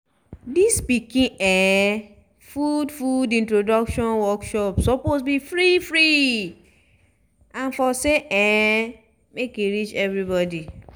dis pikin um food food introduction workshops suppose be free-free and for say um make e reach everybody